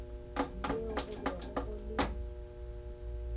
yeo go bego go le